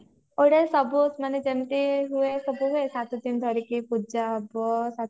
ୟାଡେ ସବୁ ମାନେ ଯେମତି ହୁଏ ସବୁ ଆଡେ ସାତ ଦିନ ଧରିକି ପୂଜା ହବ